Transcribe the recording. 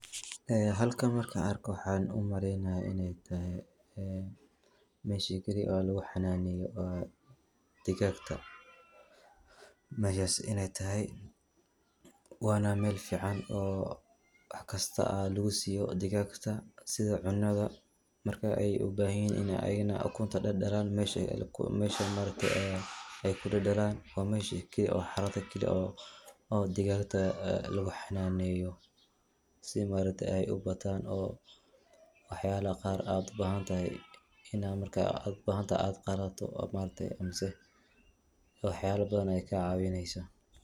Ee halkan markan arko waxan umaleynaya inay tahay meshi keli oo lugu xananeeyo dhigagta. meshas inay tahay wana Mel fican oo waxkista aa lugu siiyo digag kista sida cunada marka ay ubahan yihin ini ayagana ukunta dhadhalan mesha ma aragte ay kudhadhalan waa meshi oo xaradi keli oo digagta lugu xanaaneyo si ma aragte ay ubataan oo wax yala qaar ad ubahanahay ina markad ubahanahay ad qalato oo ma aragte mise wax yala badan ayay kaa caawineysa.